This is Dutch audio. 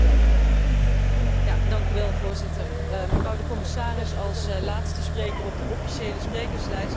Mevrouw de commissaris, als laatste spreker op de officiële sprekerslijst zal ik proberen om dit debat samen te vatten.